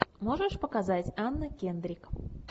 можешь показать анна кендрик